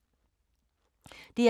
DR K